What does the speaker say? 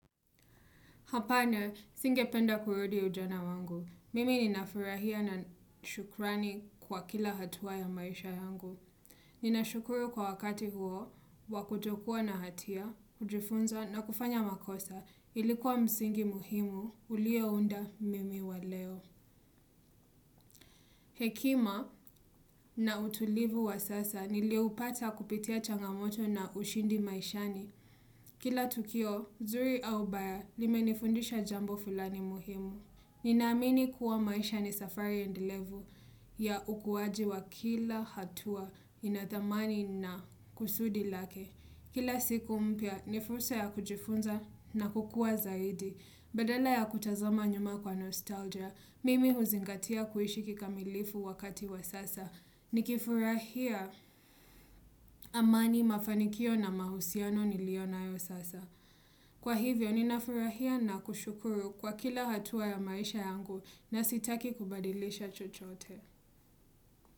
Hapana nisinge penda kurudi ujana wangu. Mimi ninafurahia na shukrani kwa kila hatua ya maisha yangu. Nina shukuru kwa wakati huo, wakutokuwa na hatia, kujifunza na kufanya makosa. Ilikuwa msingi muhimu, ulio unda mimi wa leo. Hekima na utulivu wa sasa, nilioupata kupitia changamoto na ushindi maishani. Kila tukio, zuri au baya, limenifundisha jambo fulani muhimu. Ninaamini kuwa maisha ni safari endelevu ya ukuaji wa kila hatua inathamani na kusudi lake. Kila siku mpya ni fursa ya kujifunza na kukua zaidi. Badala ya kutazama nyuma kwa nostalgia, mimi huzingatia kuishi kikamilifu wakati wa sasa. Nikifurahia amani mafanikio na mahusiano niliyonayo sasa. Kwa hivyo, ninafurahia na kushukuru kwa kila hatua ya maisha yangu na sitaki kubadilisha chochote.